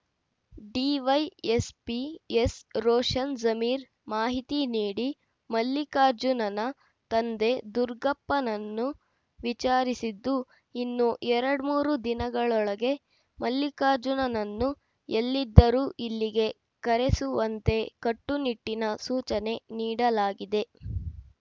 DYSP ಎಸ್‌ರೋಷನ್‌ Zameer ಮಾಹಿತಿ ನೀಡಿ ಮಲ್ಲಿಕಾರ್ಜುನನ ತಂದೆ ದುರ್ಗಪ್ಪನನ್ನು ವಿಚಾರಿಸಿದ್ದು ಇನ್ನೂ ಎರಡ್ಮೂರು ದಿನಗಳೊಳಗೆ ಮಲ್ಲಿಕಾರ್ಜುನನ್ನು ಎಲ್ಲಿದ್ದರೂ ಇಲ್ಲಿಗೆ ಕರೆಸುವಂತೆ ಕಟ್ಟುನಿಟ್ಟಿನ ಸೂಚನೆ ನೀಡಲಾಗಿದೆ